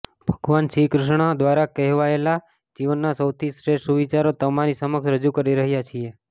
ભગવાન શ્રી કૃષ્ણ દ્વારા કહેવાયેલા જીવનના સૌથી શ્રેષ્ઠ સુવિચારો તમારી સમક્ષ રજુ કરી રહ્યા છીએ